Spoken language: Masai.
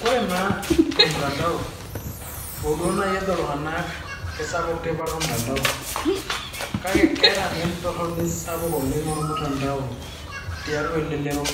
kore naa ormutandao, hoo naa nejo ltunganak eisapuk tipat ormutandao. kake keaeta naa entoroni sapuk oleng ormutandao tiatua elelero.